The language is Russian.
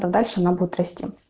то дальше она будет расти